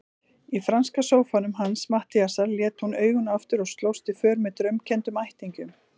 Í franska sófanum hans Matthíasar lét hún augun aftur og slóst í för með draumkenndum ættingjum.